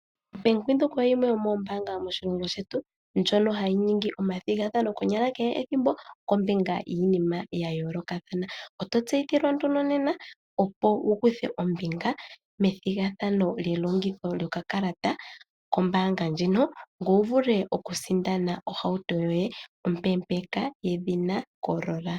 Obank windhoek oyo yimwe yomoombaanga moshilongo shetu ndjono hayi ningi omathigathano konyala kehe ethimbo giinima ya yooloka .Oto tseyithilwa opo wukuthe ombinga methigathano lyokakalata kombanga yombanga ndjino ngoye wuvule okusindana ohauto yoye ompeempeka yedhina corolla.